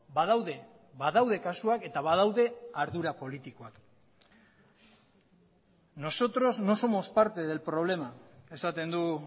badaude badaude kasuak eta badaude ardura politikoak nosotros no somos parte del problema esaten du